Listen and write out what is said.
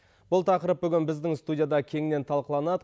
бұл тақырып бүгін біздің студияда кеңінен талқыланады